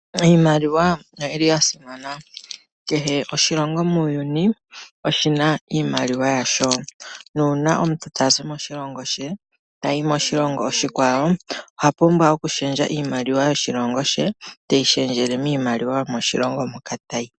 Iimaliwa oyili ya simana. kehe oshilongo muuyuni oshina iimaliwa yasho nuuna omuntu tazi moshilongo she tayi moshilongo oshikwawo ohapumbwa oku shendja iimaliwa yoshilongo she teyi shendjele miimaliwa yo moshilongo moka tayi.